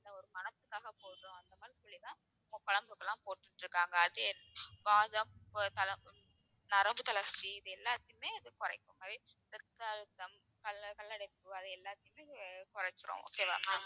ஒரு மணத்துக்காக போடுறோம் அந்த மாதிரி சொல்லிதான் நம்ம குழம்புக்கு எல்லாம் போட்டுட்டு இருக்காங்க அது வாதம் தலை~ நரம்பு தளர்ச்சி இது எல்லாத்தையுமே இது குறைக்கும் கல்ல~ கல்லடைப்பு அது எல்லாத்தையுமே குறைச்சிரும் okay வா ma'am